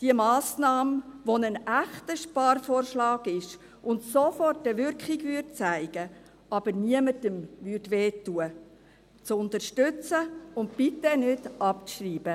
diese Massnahme, die ein echter Sparvorschlag ist und sofort eine Wirkung zeigen, aber niemandem wehtun würde, zu unterstützen, und wir bitten Sie, diese nicht abzuschreiben.